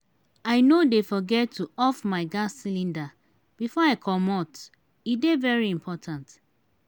i no dey forget to off my gas cylinder before i comot e dey very important.